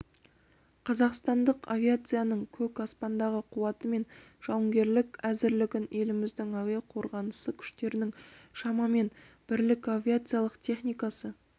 қазақстандық авиацияның көк аспандағы қуаты мен жауынгерлік әзірлігін еліміздің әуе қорғанысы күштерінің шамамен бірлік авиациялық техникасы